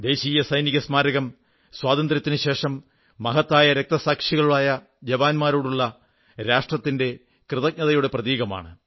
ദേശീയ സൈനിക സ്മാരകം സ്വാതന്ത്ര്യത്തിനുശേഷം മഹത്തായ രക്തസാക്ഷികളായ ജവാന്മാരോടുള്ള രാഷ്ട്രത്തിന്റെ കൃതജ്ഞതയുടെ പ്രതീകമാണ്